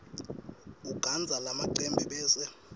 ugandza lamacembe bese